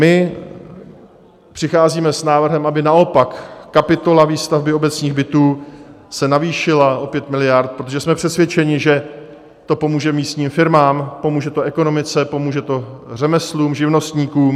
My přicházíme s návrhem, aby naopak kapitola výstavby obecních bytů se navýšila o 5 miliard, protože jsme přesvědčeni, že to pomůže místním firmám, pomůže to ekonomice, pomůže to řemeslům, živnostníkům.